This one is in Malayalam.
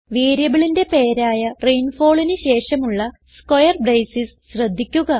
വേരിയബിളിന്റെ പേരായ rainfallന് ശേഷമുള്ള സ്ക്വയർ ബ്രേസസ് ശ്രദ്ധിക്കുക